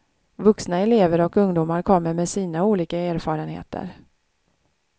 Vuxna elever och ungdomar kommer med sina olika erfarenheter.